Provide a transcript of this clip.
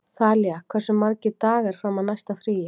Þalía, hversu margir dagar fram að næsta fríi?